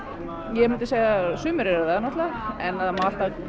ég myndi segja að sumir eru það náttúrulega en það má alltaf